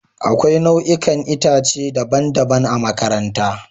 Akwai nau'ikan itace daban-daban a makarantara